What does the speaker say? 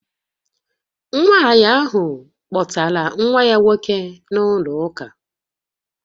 Nwanyị ahụ kpọtara nwa ya nwoke na-ụlọ ụka